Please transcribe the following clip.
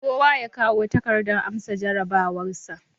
Kowa ya kawo takardar amsa jarabawarsa